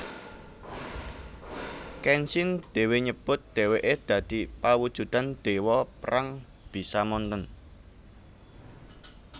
Kenshin dhéwé nyebut dhèwèké dadi pawujudan déwa perang Bishamonten